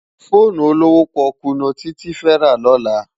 Fónú ólówó pòkú no Titi fè rá lòlá